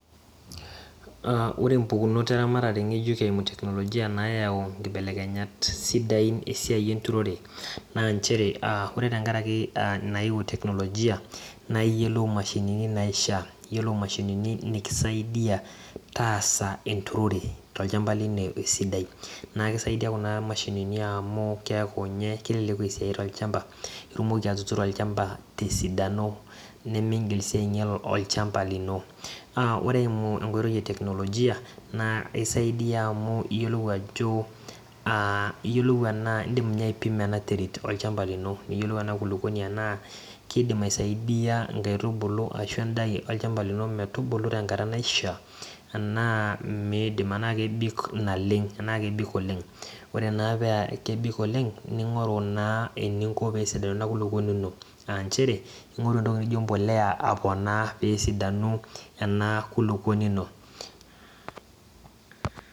Ore mpukunot eramatare ngejuk eimu teknologia naayau nkibelekenyat, sidain esiai enturore,,naa nchere, ore tenkaraki nayewuo teknologia, naa iyiolou imashinini naishaa, iyiolo mashinini, nikisaidia taasa enturore tolchampa lino, esidai. naa ekisaidia Kuna mashinni amu keeku, ninye kilepu esiai tolchampa, itumoki atuturo olchampa tesidano. nimigil sii aingial olchampa lino. naa ore eimu, enkoitoi e teknologia naa isaidia amu iyiolou ajo, iyiolou enaa, idim ninye aipimo ena terit olchampa lino, niyiolou ena kulupuoni enaa kidim aisidai, inkaitubulu arashu edaa olchampa lino metubulu, tenkata naishaa enaa miidim enaa, kebik naleng, tenaa kebik oleng. Ore naa paa kebik oleng, ningoru eninko, pee esidano Ina kulupuoni ino, aa nchere, ingoru entoki naijo empuliya aponaa pee esidanu ena kulupuoni ino.